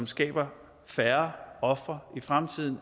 skaber færre ofre i fremtiden